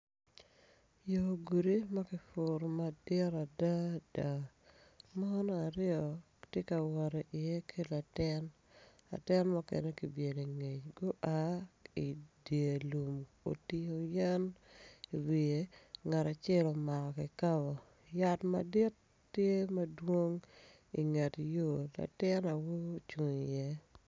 Yo gudi ma kipuro madit adada mon aryo tye ka wot iye ki latin latin mukene kibyelo ingec gua idye lum otingo yen iwiye ngat acel omako kikapo yat madit tye madwong tye inget yo latin awobi ocung iye.